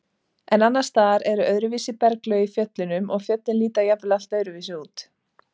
En annars staðar eru öðruvísi berglög í fjöllunum og fjöllin líta jafnvel allt öðruvísi út.